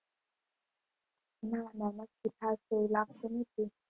ના ના નક્કી થશે એવું લાગતું નથી.